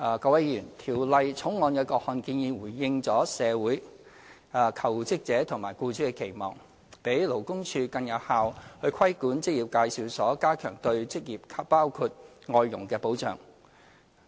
各位議員，《條例草案》的各項建議回應了社會、求職者和僱主的期望，讓勞工處更有效地規管職業介紹所，加強對求職者包括外傭的保障。